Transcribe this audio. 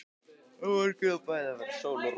Á morgun á bæði að vera sól og rok.